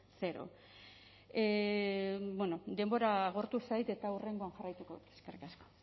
cero denbora agortu zait eta hurrengoan jarraituko dut eskerrik asko